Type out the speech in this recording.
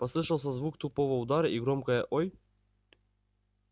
послышался звук тупого удара и громкое ой